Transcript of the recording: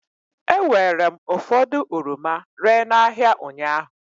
E weere m ụfọdụ oroma ree n'ahịa ụnyaahụ.